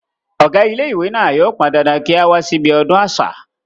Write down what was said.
ọ̀gá ilé ìwé náà yóò pán dandan kí á wá sí ibi ọdún àṣà